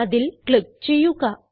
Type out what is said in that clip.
അതിൽ ക്ലിക്ക് ചെയ്യുക